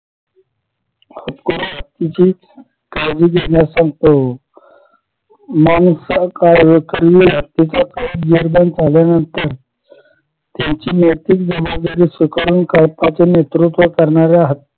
हत्तीची काळजी घेण्यास सांगतो माणूस हत्तीच्या कळप विरजण झाल्यानंतर त्यांची नैतिक जबाबदारी स्वीकारून कळपाचे नेतृत्व करणाऱ्या हत्तीला